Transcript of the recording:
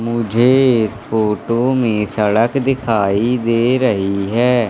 मुझे इस फोटो में सड़क दिखाई दे रही है।